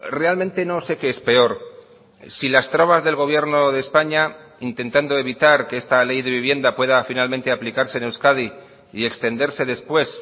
realmente no sé qué es peor si las trabas del gobierno de españa intentando evitar que esta ley de vivienda pueda finalmente aplicarse en euskadi y extenderse después